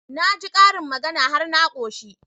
Na ji karin magana har na ƙoshi